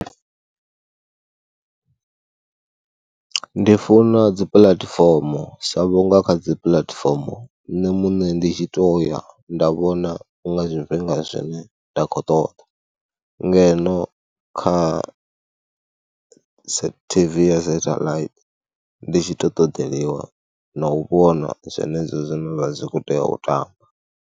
Ndi funa dzipuḽatifomo sa vhunga kha dzipuḽatifomo nṋe muṋe ndi tshi tou ya nda vhona nga zwifhinga zwine nda khou u ṱoḓa ngeno kha T_V ya sathelaithi ndi tshi tou ṱoḓeliwa na u vhona zwenezwo zwine zwa khou tea u tamba.